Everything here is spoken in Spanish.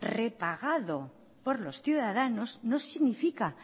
repagado por los ciudadanos no significa